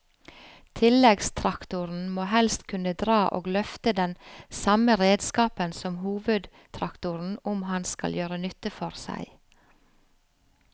Tilleggstraktoren må helst kunne dra og løfte den samme redskapen som hovedtraktoren om han skal gjøre nytte for seg.